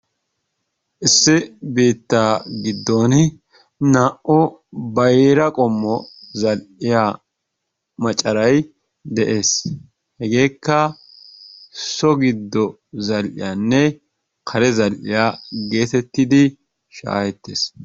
Issi biitta giddoni naa'u bayira qommo zal'iyaa macaray de'es, hegekka so giddo zal'iyaanne kare zal'iyaa geetettidi shaahettes.